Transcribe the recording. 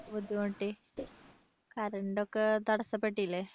ബുദ്ധിമുട്ടി current ഒക്കെ തടസ്സപ്പെട്ടില്ലേ.